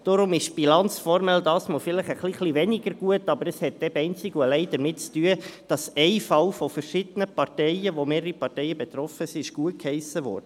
Deshalb ist die Bilanz formell gesehen diesmal vielleicht etwas weniger gut, doch dies hat einzig und allein damit zu tun, dass ein Fall, an dem mehrere Parteien beteiligt waren, gutgeheissen wurde.